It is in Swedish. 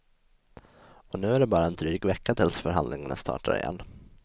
Och nu är det bara en dryg vecka tills förhandlingarna startar igen.